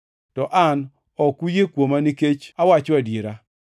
To an ok uyie kuoma nikech awacho adiera!